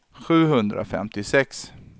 sjuhundrafemtiosex